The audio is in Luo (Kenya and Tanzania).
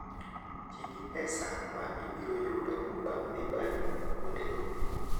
Ti gi pesa ma ibiro yudo bang' dhi bayo kuondego.